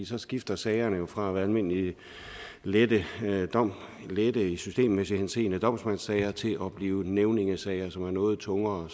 så skifter sagerne jo fra at være almindelige lette lette i systemmæssig henseende domsmandssager til at blive nævningesager som er noget tungere